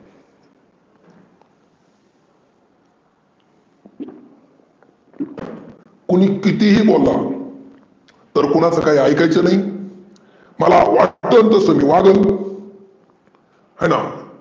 कोणि किती ही बोलला तर कुणाचं काही ऐकायचं नाही मला वाटेल तसं मी वागल हेना.